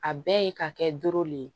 A bɛɛ ka kɛ doro de ye